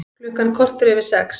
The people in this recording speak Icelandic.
Klukkan korter yfir sex